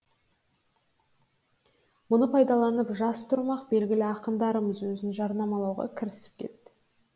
мұны пайдаланып жас тұрмақ белгілі ақындарымыз өзін жарнамалауға кірісіп кетті